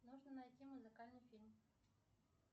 нужно найти музыкальный фильм